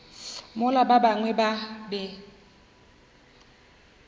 mola ba bangwe ba be